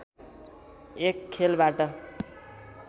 एक खेलबाट